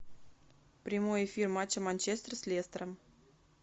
прямой эфир матча манчестер с лестером